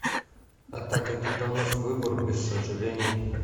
атака титанов выбор без сожалений